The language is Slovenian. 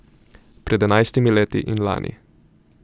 Pred enajstimi leti in lani.